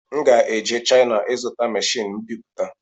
M ga-eje China ịzụta machini mbiputa